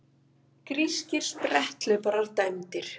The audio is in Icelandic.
Grískir spretthlauparar dæmdir